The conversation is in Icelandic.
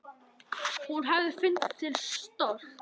Hún hefði fundið til stolts.